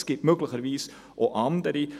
Es gibt möglicherweise auch andere.